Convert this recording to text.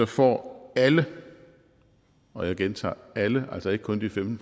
får alle og jeg gentager alle altså ikke kun de femten